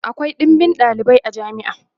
akwai ɗinbin ɗalibai a jami'a